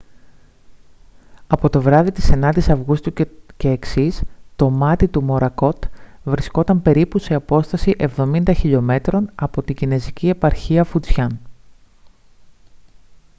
από το βράδυ της 9ης αυγούστου και εξής το μάτι του μορακότ βρισκόταν περίπου σε απόσταση εβδομήντα χιλιομέτρων από την κινεζική επαρχία φουτζιάν